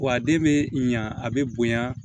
Wa a den bɛ ɲa a bɛ bonya